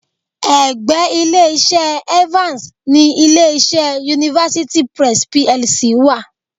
Ẹ̀gbẹ́ Ilé-iṣẹ́ Evans ni ilé-iṣẹ́ University Press PLC wa..